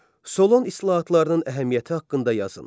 Solon islahatlarının əhəmiyyəti haqqında yazın.